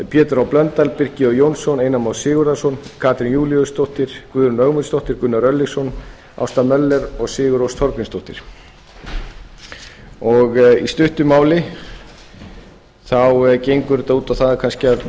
pétur h blöndal birkir j jónsson einar már sigurðarson katrín júlíusdóttir guðrún ögmundsdóttir gunnar örlygsson ásta möller og sigurrós þorgrímsdóttir í stuttu máli gengur þetta út á það kannski að